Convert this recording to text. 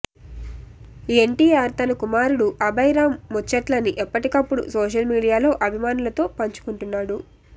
ఎన్టీఆర్ తన కుమారుడు అభయ్ రామ్ ముచ్చట్లని ఎప్పటికప్పుడు సోషల్ మీడియాలో అభిమానులతో పంచుకుంటున్నాడు